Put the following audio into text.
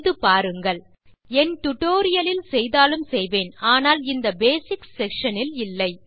செய்து பாருங்கள் என் டியூட்டோரியல் லில் செய்தாலும் செய்வேன் ஆனால் இந்த பேசிக்ஸ் செக்ஷன் இல் இல்லை